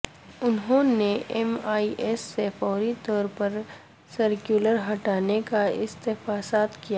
انہوں نے M E S سے فوری طور پر سرکولر ہٹانے کا استفسار کیا